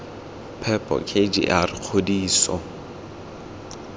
phepo k g r kgodiso